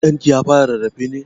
Ɗan ki ya fara rarrafe ne?